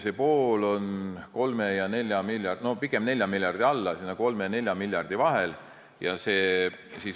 See pool on 3 ja 4 miljardi vahel, pigem 4 miljardi alla.